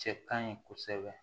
Cɛ ka ɲi kosɛbɛ